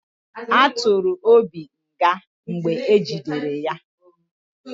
A tụrụ Obi nga mgbe ejidere ya